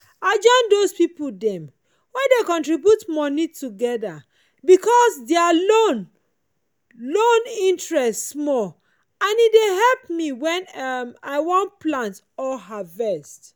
i join those pipo dem wey dey contribute money togetherbecause their loan loan interest small and e dey help me when um i wan plant or harvest.